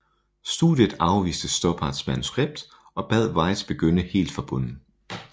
Studiet afviste Stoppards manuskript og bad Weitz begynder helt fra bunden